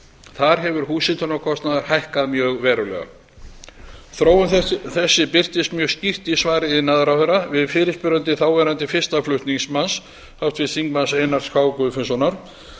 þar hefur húshitunarkostnaður hækkað mjög verulega þróun þessi birtist mjög skýrt í svari iðnaðarráðherra við fyrirspurn þáverandi fyrsta flutningsmanns háttvirts þingmanns einars k guðfinnssonar